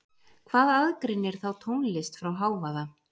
Hvað aðgreinir þá tónlist frá hávaða?